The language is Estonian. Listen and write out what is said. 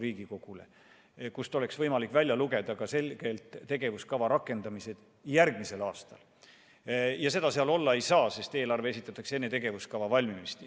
Eelarvest peaks olema võimalik selgelt välja lugeda ka tegevuskava rakendamine järgmisel aastal, kuid seda seal olla ei saa, sest eelarve esitatakse enne tegevuskava valmimist.